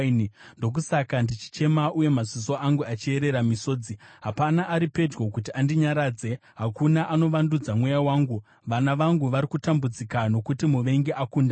“Ndokusaka ndichichema uye maziso angu achierera misodzi. Hapana ari pedyo kuti andinyaradze, hakuna anovandudza mweya wangu. Vana vangu vari kutambudzika nokuti muvengi akunda.”